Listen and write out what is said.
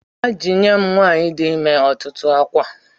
Ajinyem nwanyi di imer otutu akwa.